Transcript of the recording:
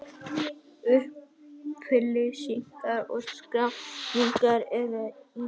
Upplýsingar og skráning er í síma.